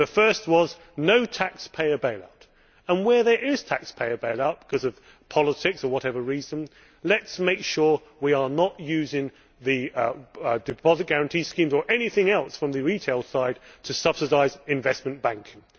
The first was no taxpayer bailout, and, where there is taxpayer bailout because of politics or for whatever reason, let us make sure we are not using deposit guarantee schemes or anything else from the retail side to subsidise investment banking.